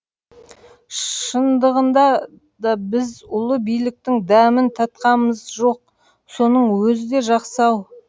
шындығында да біз ұлы биліктің дәмін татқамыз жоқ соның өзі де жақсы ау